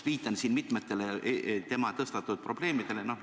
Viitan siin mitmetele tema tõstatatud probleemidele.